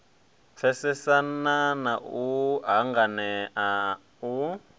pfesesana na u hanganea u